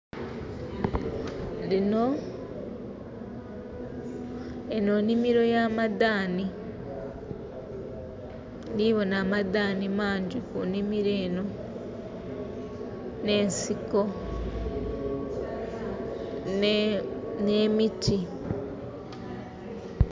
Enho nhimiro ya madhani ndhibonha amadhanhi mangi mu nhimiro enho nh'ensiko nh'emiti.